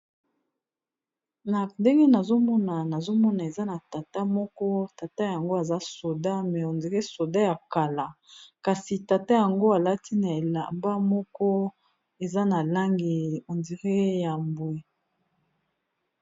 na ndenge nazomona eza na tata moko tata yango aza soda me ondere soda ya kala kasi tata yango alati na elamba moko eza na langi ondire ya mbwe